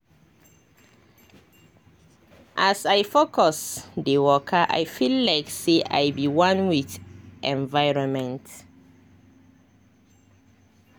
as i focus dey wakai feel like say i be one with my environment. um